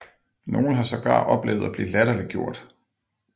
Nogle har sågar oplevet at blive latterliggjort